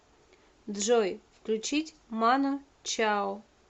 джой включить ману чао